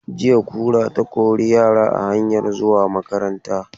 Jiya kura ta kori yara a hanyan zuwa makaranta.